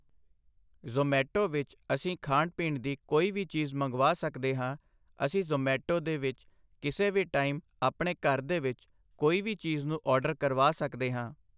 ਜ਼ੋਮੈਟੋ ਵਿੱਚ ਅਸੀਂ ਖਾਣ ਪੀਣ ਦੀ ਕੋਈ ਵੀ ਚੀਜ਼ ਮੰਗਵਾ ਸਕਦੇ ਹਾਂ ਅਸੀਂ ਜੋਮੈਟੋ ਦੇ ਵਿੱਚ ਕਿਸੇ ਵੀ ਟਾਈਮ ਆਪਣੇ ਘਰ ਦੇ ਵਿੱਚ ਕੋਈ ਵੀ ਚੀਜ਼ ਨੂੰ ਔਡਰ ਕਰਵਾ ਸਕਦੇ ਹਾਂ